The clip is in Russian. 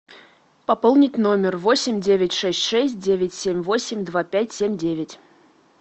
пополнить номер восемь девять шесть шесть девять семь восемь два пять семь девять